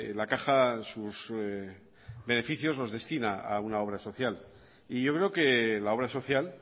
la caja sus beneficios los destina a una obra social y yo creo que la obra social